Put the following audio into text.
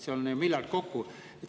See on miljard kokku.